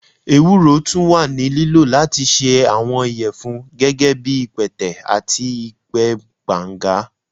ewuro tun wa ni lilo lati ṣe awọn iyẹfun, gẹgẹbi ipẹtẹ ati ipẹ banga.